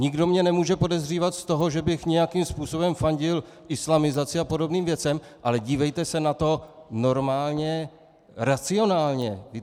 Nikdo mě nemůže podezřívat z toho, že bych nějakým způsobem fandil islamizaci a podobným věcem, ale dívejte se na to normálně racionálně.